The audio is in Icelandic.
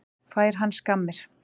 Fær hann skammir?